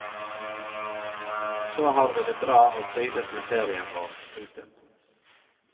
Så har vi det bra og trives med ferien vår. punktum